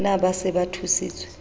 na ba se ba thusitswe